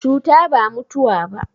Cuta ba mutuwa ba.